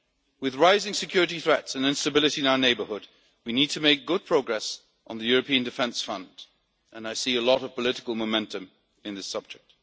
With rising security threats and instability in our neighbourhood, we need to make good progress on the European Defence Fund, and I see a lot of political momentum on this subject.